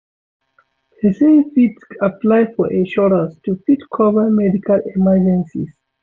person fit apply for insurance to fit cover medical emergencies